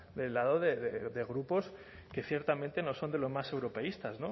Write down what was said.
del lado de grupos que ciertamente no son de los más europeístas